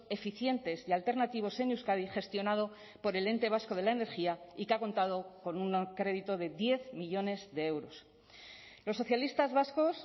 eficientes y alternativos en euskadi gestionado por el ente vasco de la energía y que ha contado con un crédito de diez millónes de euros los socialistas vascos